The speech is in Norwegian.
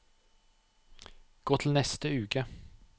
gå til neste uke